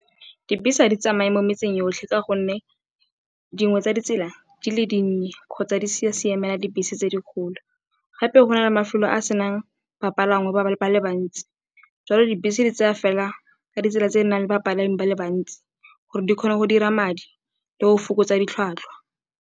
Dibese ga di tsamaye mo metseng yotlhe ka gonne dingwe tsa ditsela di le dinnye kgotsa di sa siamela dibese tse di kgolo. Gape go na le mafelo a senang bapalangwa ba le bantsi, jalo dibese di tsaya fela ka ditsela tse di nang le bapalami ba le bantsi gore di kgone go dira madi le go fokotsa ditlhwatlhwa.